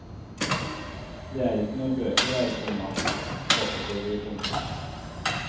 Det er ikke noen bøker her, komma påpeker vi. punktum